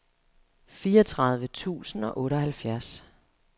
fireogtredive tusind og otteoghalvfjerds